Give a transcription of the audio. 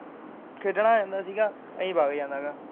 ਖੇਡਣ ਆ ਜਾਂਦਾ ਸੀ ਗਾ ਅਸੀਂ ਵਗ ਜਾਣਾ ਹੈਗਾ।